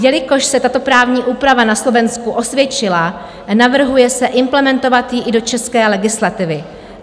Jelikož se tato právní úprava na Slovensku osvědčila, navrhuje se implementovat ji i do české legislativy.